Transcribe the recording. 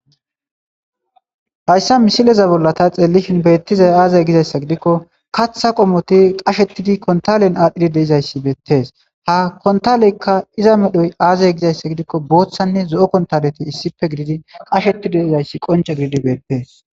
hayssa misileza bolla ta xeelishin beettizay aaza gizayssa gidikko katha qomoti qashettidi kontalen aadhdhidi deizayssi beettees ha kontaleykka iza medhoy aaza gizayssa gidikko boothanne zo'o kontaleti issife gididi qasheti de'izayssi qonca gididi beettees